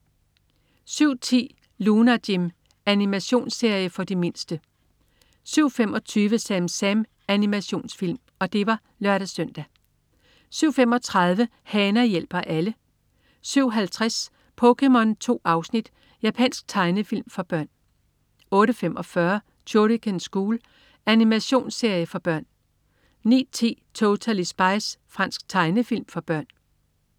07.10 Lunar Jim. Animationsserie for de mindste (lør-søn) 07.25 SamSam. Animationsfilm 07.35 Hana hjælper alle 07.50 POKéMON. 2 afsnit. Japansk tegnefilm for børn 08.45 Shuriken School. Animationsserie for børn 09.10 Totally Spies. Fransk tegnefilm for børn